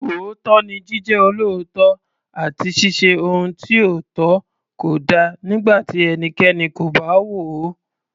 Òótọ́ ni Jíjẹ́ olóòótọ́ àti ṣíṣe ohun tí ó tọ́ kódà nígbà tí ẹnikẹ́ni kò bá wò ó.